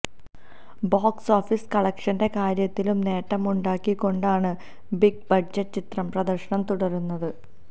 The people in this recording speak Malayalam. ബോക്സ് ഓഫീസ് കളക്ഷന്റെ കാര്യത്തിലും നേട്ടമുണ്ടാക്കി കൊണ്ടാണ് ബിഗ് ബഡ്ജറ്റ് ചിത്രം പ്രദര്ശനം തുടരുന്നത്